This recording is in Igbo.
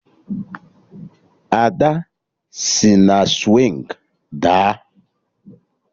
Ada sị na swịngị daa